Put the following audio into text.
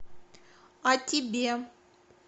а тебе